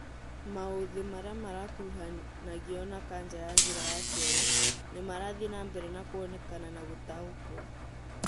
Maũthĩ marĩa makuruhanagio na kanja ya njĩra ya kĩoro nĩmarathie na mbere na kuonekana na gũtaũkwo